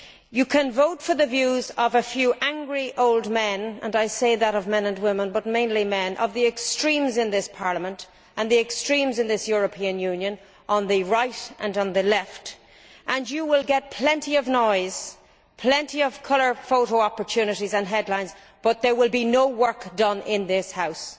You can vote for the views of a few angry old men and I say that of men and women, but mainly men of the extremes in this Parliament and the extremes in this European Union, on the right and on the left, and you will get plenty of noise and plenty of colour photo opportunities and headlines, but there will be no work done in this House.